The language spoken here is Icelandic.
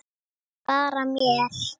Bara mér.